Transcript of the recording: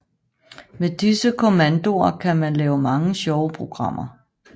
Med disse kommandoer kan man lave mange sjove programmer